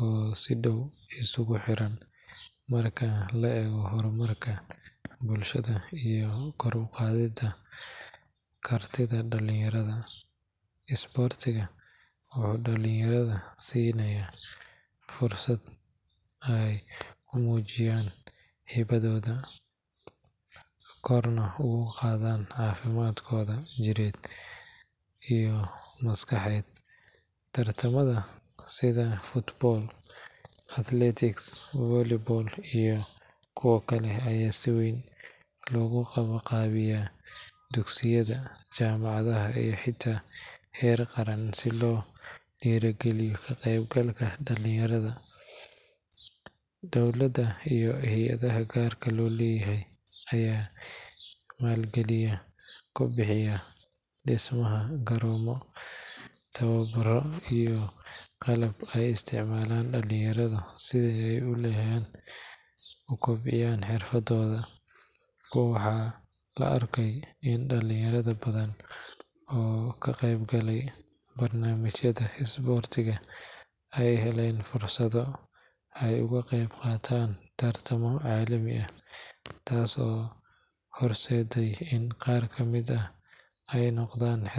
oo si dhow isugu xiran marka la eego horumarka bulshada iyo kor u qaadidda kartida dhalinyarada. Isboortigu wuxuu dhalinyarada siinayaa fursad ay ku muujiyaan hibadooda, korna ugu qaadaan caafimaadkooda jidheed iyo maskaxeed. Tartamada sida football, athletics, volleyball iyo kuwo kale ayaa si weyn loogu qabanqaabiyaa dugsiyada, jaamacadaha iyo xitaa heer qaran si loo dhiirrigeliyo ka qaybgalka dhalinyarada. Dowladda iyo hay’adaha gaarka loo leeyahay ayaa maalgelin ku bixinaya dhismaha garoomo, tababarro iyo qalab ay isticmaalaan dhalinyarada si ay u kobciyaan xirfadooda. Waxaa la arkay in dhalinyaro badan oo ka qaybgalay barnaamijyada isboorti ay heleen fursado ay uga qeyb qaataan tartamo caalami ah, taas oo horseeday in qaar ka mid ah ay noqdaan.